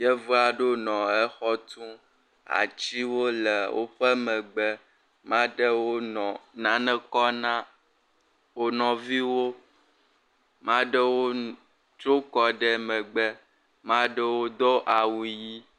Yevu aɖewo nɔ exɔ tum. Atsiwo le woƒe megbe. Ma ɖewo nɔ nane kɔm na wo nɔviwo. Ma ɖewo tro kɔ ɖe megbe. Ma ɖewo do awu ɣi.